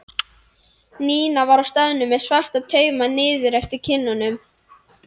Nína var á staðnum með svarta tauma niður eftir kinnunum.